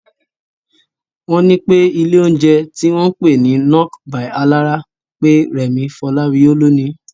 Wọ́n ní pé ilé oúnjẹ tí wọ́n ń pè ní "Nok by Alára" pé Rẹ̀mí Fọláwiyọ́ ló níí